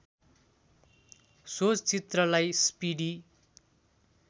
so चित्रलाई speedy